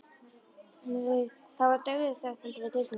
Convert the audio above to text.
Það var dauðaþögn handan við dyrnar.